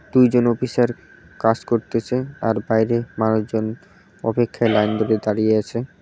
দুইজন অফিসার কাজ করতেসে আর বাইরে মানুষজন অপেক্ষায় লাইন ধরে দাঁড়িয়ে আছে।